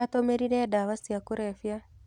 Atũmĩrire dawa cia kurebia.